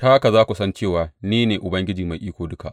Ta haka za ku san cewa ni ne Ubangiji Mai Iko Duka.